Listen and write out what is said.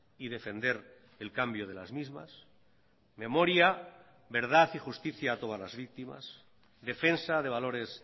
y defender el cambio de las mismas memoria verdad y justicia a todas las víctimas defensa de valores